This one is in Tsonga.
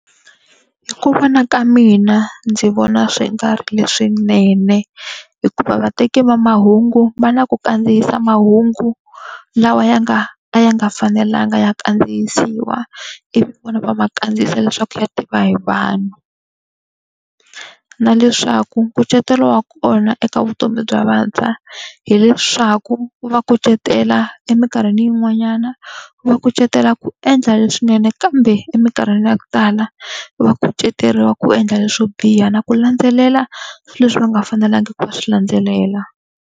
Hi ku vona ka mina ndzi vona swi nga ri leswinene, hikuva vateki va mahungu va na ku kandziyisa mahungu lawa ya nga a ya nga fanelanga ya kandziyisiwa. Ivi vona va ma kandziyisa leswaku ya tiva hi vanhu. Na leswaku nkucetelo wa kona eka vutomi bya vantshwa hileswaku, wu va kucetela eminkarhini yin'wanyana wu va kucetela ku endla leswinene kambe eminkarhini ya ku tala wu va kuceteriwa ku endla leswo biha na ku landzelela swilo leswi va nga fanelangi ku va swi landzelela.